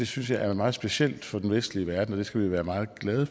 synes jeg er meget specielt for den vestlige verden og det skal vi være meget glade